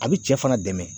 A bi cɛ fana dɛmɛ